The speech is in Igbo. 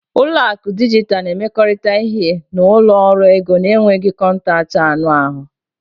Ụlọ akụ dijitalụ na-emekọrịta ihe na ụlọ ọrụ ego na-enweghị kọntaktị anụ ahụ.